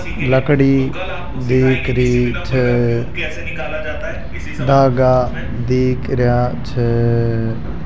लकड़ी दिख छे धागा दिख रहा छे --